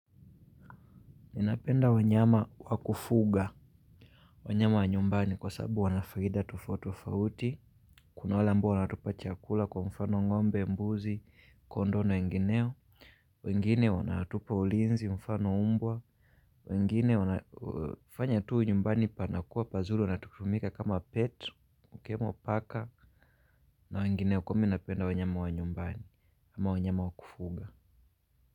Ninapenda wanyama wakufuga, wanyama wa nyumbani kwa sababu wanafaida tofatofauti, kuna wale ambao wanatupa chakula kwa mfano ngombe, mbuzi, kondo na wengineo, wengine wanatupa ulinzi, mfano umbwa, wengine wanafanya tuu nyumbani panakuwa pazuli wanatukumika kama petu, ukiwemo paka, na wengineo kwa ninapenda wanyama wa nyumbani, ama wanyama wakufuga.